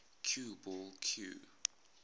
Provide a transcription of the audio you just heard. cue ball cue